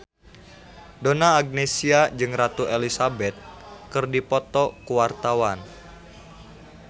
Donna Agnesia jeung Ratu Elizabeth keur dipoto ku wartawan